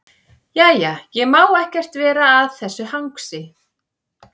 Jæja, ég má ekkert vera að þessu hangsi.